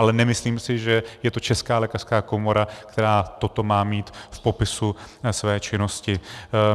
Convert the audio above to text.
Ale nemyslím si, že je to Česká lékařská komora, která toto má mít v popisu své činnosti.